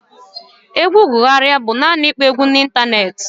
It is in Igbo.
Egwu gụgharia bụ naanị ịkpọ egwu n'ịntanetị